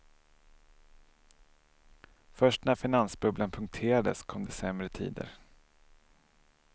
Först när finansbubblan punkterades kom det sämre tider.